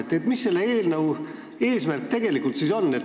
Mis siis tegelikult selle eelnõu eesmärk on?